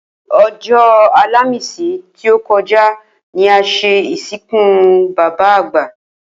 O̩jó̩ Àlàmísì tí ó ko̩ja ni a s̩e ìsìnkú bàbá àgbà